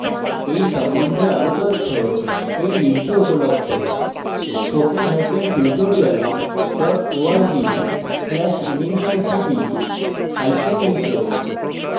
এই সম্বন্ধে আরও তথ্য এই লিঙ্কে উপলব্ধ spoken hyphen tutorial dot org slash nmeict hyphen intro